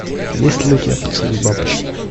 есть ли у тебя поцелуй бабочки